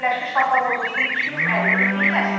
Parad Birləşmiş Ştatlar ordusunun 250 illiyinə həsr olunub.